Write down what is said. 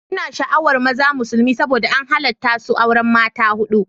Ina sha'awar maza musulmi saboda an halatta su auren mata hudu